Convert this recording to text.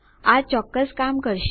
આ ચોક્કસ કામ કરશે